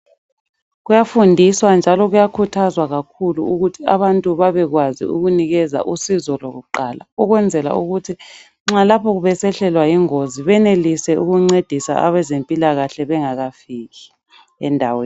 Kuyafundiswa njalo kuyakhuthazwa kakhulu ukuthi abantu babekwazi ukunikeza usizo lwakuqala ukwenzela ukuthi nxa lapho besehlelwa yingozi benelise ukuncedisa abezempilakahle bengakafiki endaweni.